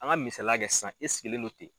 An ka misaliya kɛ sisan e sigilen no ten.